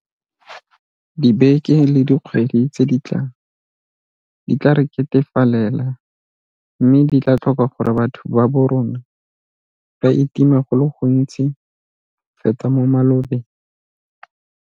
Dibeke le dikgwedi tse di tlang di tla re ketefalela mme di tla tlhoka gore batho ba borona ba itime go le gontsi go feta mo malobeng.